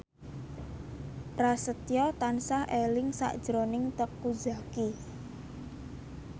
Prasetyo tansah eling sakjroning Teuku Zacky